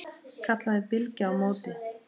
kallaði Bylgja á móti.